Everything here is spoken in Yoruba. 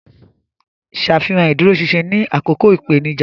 Ṣàfihàn ìdúróṣinṣin ní àkókò ìpèníjà.